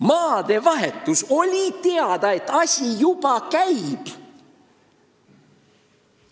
Maadevahetuse puhul oli teada, et asi juba käib.